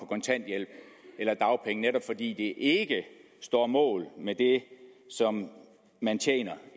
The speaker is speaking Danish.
kontanthjælp eller dagpenge netop fordi det ikke står mål med det som man tjener